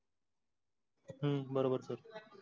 हम्म बरोबर sir